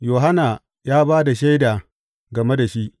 Yohanna ya ba da shaida game da shi.